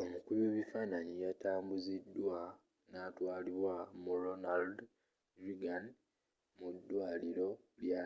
omukubi webifaananyi yatambuzidwa natwalibwa mu ronald reagan mu dwaliro lya